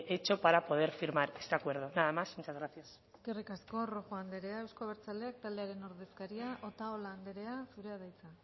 hecho para poder firmar este acuerdo nada más muchas gracias eskerrik asko rojo andrea euzko abertzaleak taldearen ordezkaria otalora andrea zurea da hitza